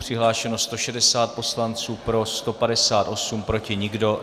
Přihlášeno 160 poslanců, pro 158, proti nikdo.